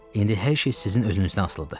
İndi hər şey sizin özünüzdən asılıdır.